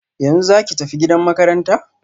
Yanzu zaki tafi gidan makaranta?